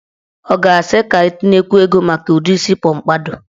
Ọ ga-asị ka etinyekwuo ego maka udi isi pọmpadọ?